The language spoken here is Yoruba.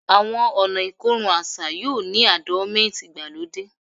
Awọn ọna ikorun aṣa yoo ni ardonment igbalode